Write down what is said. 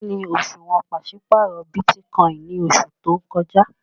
Kíni òṣuwọ́n pàṣipárọ̀ Bitikòinì ní oṣù tó n kọ́jà?